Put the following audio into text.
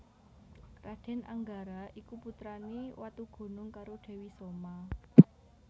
Raden Anggara iku putrane Watugunung karo Dewi Soma